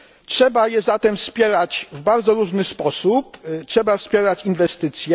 Trzeba je zatem wspierać w bardzo różny sposób i trzeba wspierać inwestycje.